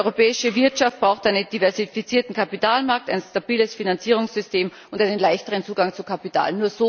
Die europäische Wirtschaft braucht einen diversifizierten Kapitalmarkt, ein stabiles Finanzierungssystem und einen leichteren Zugang zu Kapital.